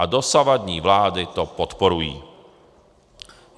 A dosavadní vlády to podporují.